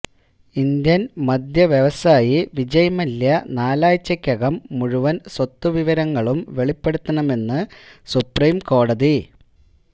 Indian മദ്യവ്യവസായി വിജയ് മല്യ നാലാഴ്ച്ചക്കകം മുഴുവന് സ്വത്തുവിവരങ്ങളും വെളിപ്പെടുത്തണമെന്ന് സുപ്രീംകോടതി